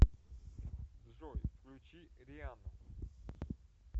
джой включи риану